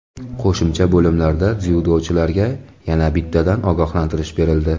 Qo‘shimcha bo‘limlarda dzyudochilarga yana bittadan ogohlantirish berildi.